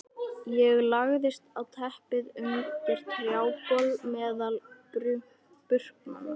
Ég lagðist á teppið undir trjábol meðal burknanna.